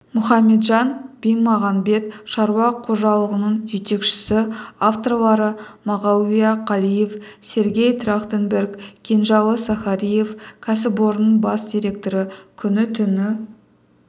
мұхаметжан бимағанбет шаруа қожалығының жетекшісі авторлары мағауия қалиев сергей трахтенберг кенжалы сахариев кәсіпорынның бас директоры күні-түні